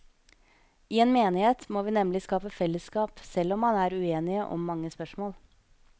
I en menighet må vi nemlig skape fellesskap, selv om man er uenige om mange spørsmål.